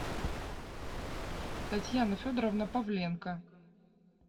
татьяна федоровна павленко